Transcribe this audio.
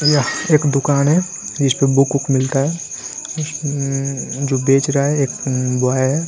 यह एक दुकान है जिस पर बुक वूक मिलता है उम्म जो बेच रहा है एक उ बॉय है।